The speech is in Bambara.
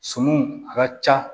Sumanw a ka ca